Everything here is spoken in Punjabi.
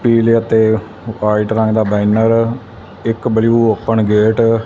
ਪੀਲੇ ਅਤੇ ਵਾਈਟ ਰੰਗ ਦਾ ਬੈਨਰ ਇੱਕ ਬਲੂ ਓਪਨ ਗੇਟ --